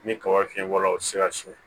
Ni kaba fiɲɛ bɔra o ti se ka so